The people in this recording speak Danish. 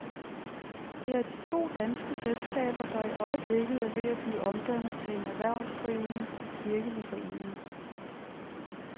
Det er de to danske selskaber, der i øjeblikket er ved at blive omdannet til en erhvervsdrivende kirkelig forening.